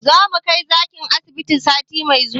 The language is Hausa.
Zamu kai zakin asibiti sati mai zuwa